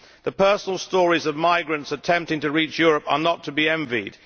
The personal stories of migrants attempting to reach Europe are not to be envied.